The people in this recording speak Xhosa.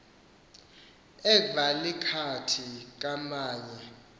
ekva lilhakathi kvamalye